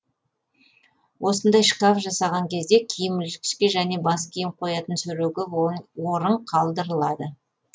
осындай шкаф жасаған кезде киім ілгішке және бас киім қоятын сереге орын қалдырылады